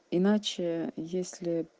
иначе если